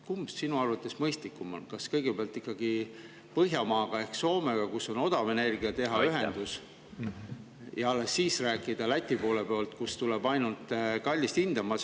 Kumb on sinu arvates mõistlikum, kas kõigepealt teha ikkagi ühendus Põhjamaaga ehk Soomega, kus on odav energia, ja alles siis rääkida Läti, kust tuleb ainult kallist hinda?